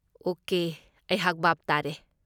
Okay, ꯑꯩꯍꯥꯛ ꯚꯥꯞ ꯇꯥꯔꯦ꯫